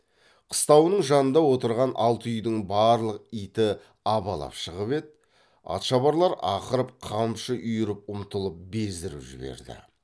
қыстауының жанында отырған алты үйдің барлық иті абалап шығып еді атшабарлар ақырып қамшы үйіріп ұмтылып бездіріп жіберді